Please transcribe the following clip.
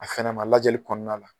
A fana ma lajɛli kɔnɔna la.